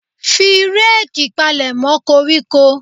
Fi reeki palemo koríko.